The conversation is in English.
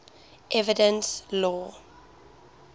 evidence law